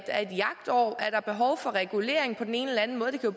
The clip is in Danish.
jagtår er der behov for regulering på den ene eller anden måde der